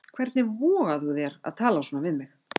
Hvernig vogar þú þér að tala svona við mig.